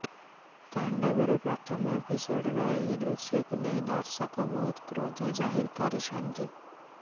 ତାଣ୍ଡବର ପ୍ରଥମ ଏପିସୋଡର ଏହି ଦୃଶ୍ୟକୁ ନେଇ ଦର୍ଶକ ବହୁତ କ୍ରୋଧ ଜାହିର କରିଛନ୍ତି